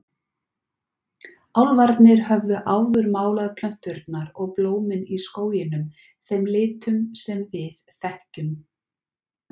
Álfarnir höfðu áður málað plönturnar og blómin í skóginum þeim litum sem við þekkjum.